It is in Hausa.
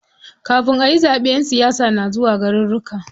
Kafin ayi zaɓe ƴan siyasa na zuwa garuruka.